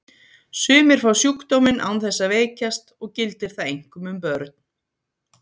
Sumir fá sjúkdóminn án þess að veikjast og gildir það einkum um börn.